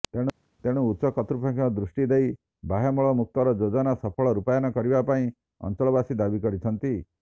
ତେଣୁ ଉଚ୍ଚ କର୍ତ୍ତୁପକ୍ଷ ଦୃଷ୍ଟି ଦେଇ ବାହ୍ୟମଳମୁକ୍ତର ଯୋଜନାକୁ ସଫଳ ରୂପାୟନ କରିବା ପାଇଁ ଅଞ୍ଚଳବାସୀ ଦାବି କରିଛନ୍ତି